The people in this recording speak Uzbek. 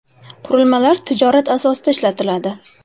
Qurilmalar tijorat asosida ishlatiladi.